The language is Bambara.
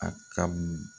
A ka mun